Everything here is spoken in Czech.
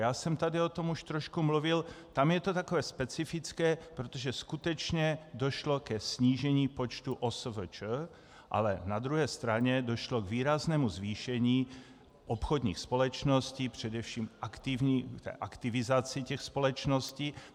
Já jsem tady o tom už trošku mluvil, tam je to takové specifické, protože skutečně došlo ke snížení počtu OSVČ, ale na druhé straně došlo k výraznému zvýšení obchodních společností, především aktivizaci těch společností.